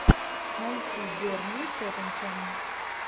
найти бернли тоттенхэм